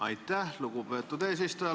Aitäh, lugupeetud eesistuja!